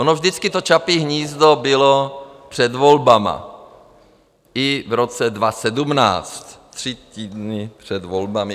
Ono vždycky to Čapí hnízdo bylo před volbami - i v roce 2017, tři týdny před volbami.